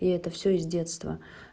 и это всё из детства